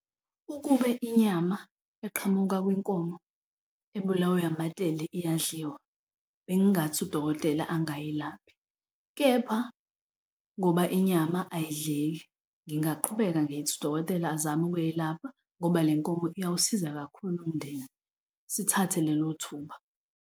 Ukube inyama eqhamuka kwinkomo ebulawe amatende iyadliwa bengingathi udokotela angayelaphi, kepha ngoba inyama ayidleki, ngingaqhubeka ngithi udokotela azame ukuyelapha ngoba le nkomo iyawusiza kakhulu umndeni. Sithathe lelo thuba.